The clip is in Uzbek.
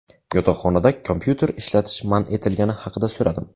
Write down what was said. Yotoqxonada kompyuter ishlatish man etilgani haqida so‘radim.